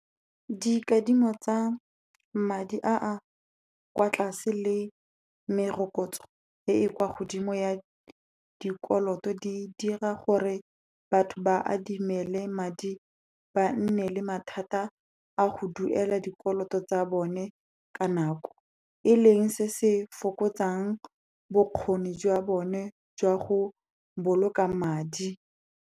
Dikadimo tsa madi a a kwa tlase le merokotso e e kwa godimo ya dikoloto, di dira gore batho ba adimele madi, ba nne le mathata a go duela dikoloto tsa bone ka nako, e leng se se fokotsang bokgoni jwa bone jwa go boloka madi.